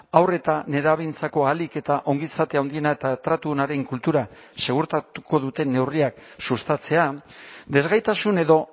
haur eta nerabeentzako ahalik eta ongizate handiena eta tratu onaren kultura segurtatuko duten neurriak sustatzea desgaitasun edo